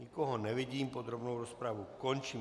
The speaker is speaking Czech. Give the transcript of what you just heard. Nikoho nevidím, podrobnou rozpravu končím.